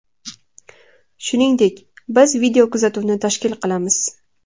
Shuningdek, biz videokuzatuvni tashkil qilamiz.